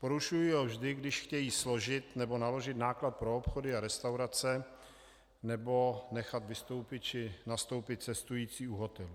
Porušují ho vždy, když chtějí složit nebo naložit náklad pro obchody a restaurace nebo nechat vystoupit či nastoupit cestující u hotelů.